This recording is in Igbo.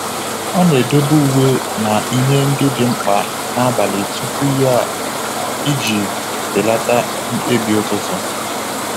Ọ na-edobe uwe na ihe ndị dị mkpa n'abalị tupu ya iji belata mkpebi ụtụtụ.